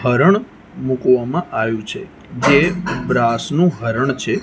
હરણ મુકવામાં આવ્યું છે જે બ્રાસનું હરણ છે.